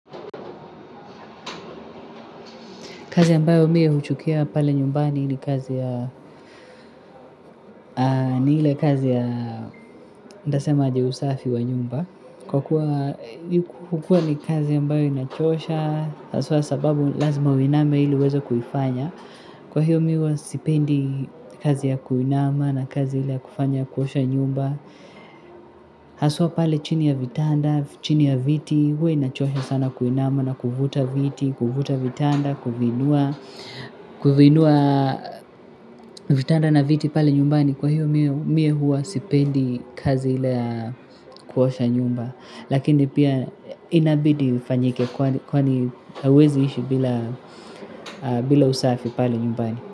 Kazi ambayo mie huchukia pale nyumbani ni kazi ya ni ile kazi ya ndasema aje usafi wa nyumba. Kwa kuwa ni kazi ambayo inachosha, haswa sababu lazima uiname ili uweze kuifanya. Kwa hiyo mi huwa sipendi kazi ya kuinama na kazi ile ya kufanya kuosha nyumba. Haswa pale chini ya vitanda, chini ya viti, huwa inachosha sana kuinama na kuvuta viti, kuvuta vitanda, kuviinua. Kuviinua vitanda na viti pale nyumbani kwa hiyo mie mie huwa sipendi kazi ile ya kuosha nyumba lakini pia inabidi ufanyike kwani hauwezi ishi bila usafi pale nyumbani.